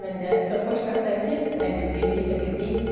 Mən də çox xoşbəxtəm ki, 51-i keçə bildik.